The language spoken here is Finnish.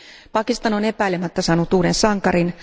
Pakistan on epäilemättä saanut uuden sankarin.